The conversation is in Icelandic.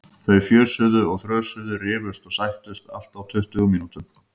Þau fjösuðu og þrösuðu, rifust og sættust, allt á tuttugu mínútum.